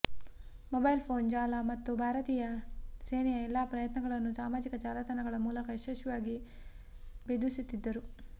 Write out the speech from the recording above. mobile phone ಜಾಲ ಮತ್ತು ಭಾರತೀಯ ಸೇನೆಯ ಎಲ್ಲ ಪ್ರಯತ್ನಗಳನ್ನು ಸಾಮಾಜಿಕ ಜಾಲತಾಣಗಳ ಮೂಲಕ ಯಶಸ್ವಿಯಾಗಿ ಬೇಧಿಸುತ್ತಿದ್ದರು